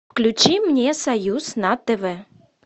включи мне союз на тв